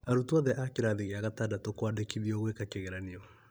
Arũtwo othe a kĩrathia gĩa gatandatũ kũandĩkithio gũĩka kĩgeranĩo